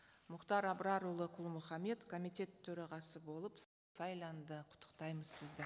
мұхтар абрарұлы құл мұхаммед комитет төрағасы болып сайланды құттықтаймыз сізді